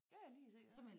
Ja ja lige præcis